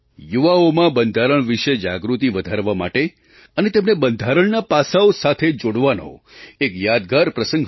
યુવાઓમાં બંધારણ વિશે જાગૃતિ વધારવા માટે અને તેમને બંધારણનાં પાસાંઓ સાથે જોડવાનો તે એક યાદગાર પ્રસંગ હતો